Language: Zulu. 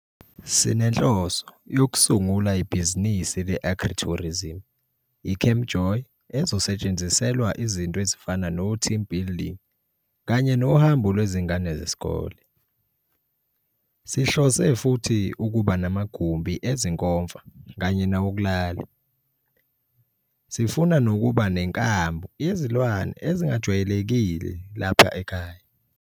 Sinenhloso yokusungula ibhizinisi le-Agri-tourism, iCamp JOY ezosetshenziselwa izinto ezifana noteam building kanye nohambo lwezingane zesikole. Sihlose futhi ukuba namagumbi ezinkomfa kanye nawokulala. Sifuna futhi nokuba nenkambu yezilwane ezingajwayelekile lapha ekhaya.